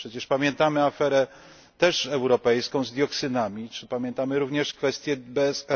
Przecież pamiętamy aferę też europejską z dioksynami czy pamiętamy również kwestię BSE.